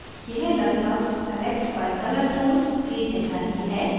यह लगभग select by colour tool के जैसा ही है